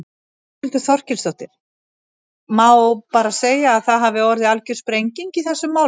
Þórhildur Þorkelsdóttir: Má bara segja að það hafi orðið algjör sprenging í þessum málum?